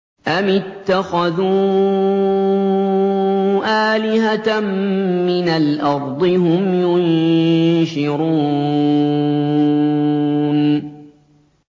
أَمِ اتَّخَذُوا آلِهَةً مِّنَ الْأَرْضِ هُمْ يُنشِرُونَ